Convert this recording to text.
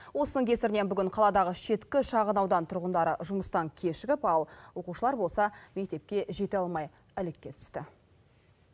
осының кесірінен бүгін қаладағы шеткі шағын аудан тұрғындары жұмыстан кешігіп ал оқушылар болса мектепке жете алмай әлекке түсті